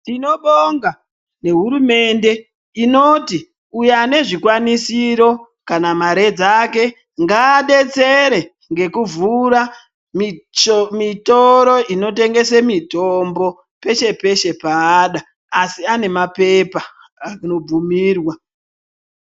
Tinobonga nehuumende inoti uyo ane zvikwanisiro kana mare dzake ngabetsere ngekuvhura mitoro inotengese mitombo peshe-peshe paada. Asi ane mapepa anobvumirwa.